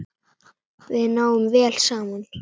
Við náum vel saman.